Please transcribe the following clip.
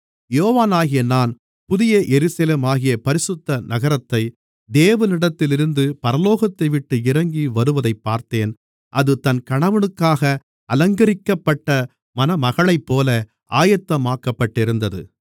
யோவானாகிய நான் புதிய எருசலேமாகிய பரிசுத்த நகரத்தை தேவனிடத்திலிருந்து பரலோகத்தைவிட்டு இறங்கி வருவதைப் பார்த்தேன் அது தன் கணவனுக்காக அலங்கரிக்கப்பட்ட மணமகளைப்போல ஆயத்தமாக்கப்பட்டிருந்தது